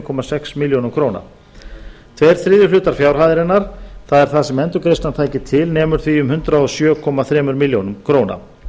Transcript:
komma sex milljónir króna tveir þriðju hlutar fjárhæðarinnar það er það sem endurgreiðslan tæki til nemur því um hundrað og sjö komma þremur milljónum króna